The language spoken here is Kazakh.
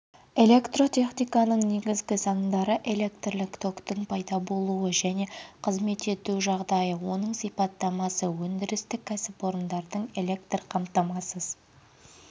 электротехниканың негізгі заңдары электрлік токтың пайда болуы және қызмет етуі жағдайы оның сипаттамасы өндірістік кәсіпорындардың электр қамтамасыз